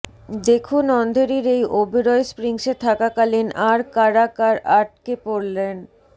দেখুন অন্ধেরির এই ওবরয় স্প্রিংসে থাকাকালীন আর কারা কার আটকে পড়লেন